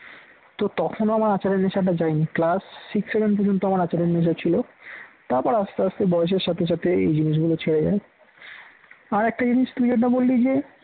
তো তখন আমার আচারের নেশাটা যায়নি class six seven পর্যন্ত আমার আচারের নেশা ছিল তারপর আস্তে আস্তে বয়সের সাথে সাথে এই জিনিসগুলো ছেড়ে যায়। আর একটা জিনিস তুই যেটা বললি যে